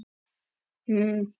Oj, mikið er þetta ógirnilegt!